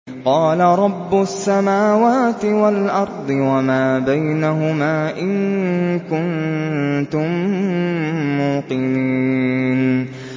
قَالَ رَبُّ السَّمَاوَاتِ وَالْأَرْضِ وَمَا بَيْنَهُمَا ۖ إِن كُنتُم مُّوقِنِينَ